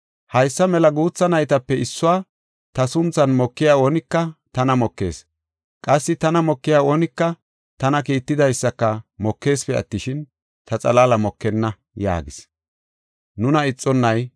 “Haysa mela guutha naytape issuwa ta sunthan mokiya oonika tana mokees; qassi tana mokiya oonika tana kiittidaysaka mokeesipe attishin, ta xalaala mokenna” yaagis.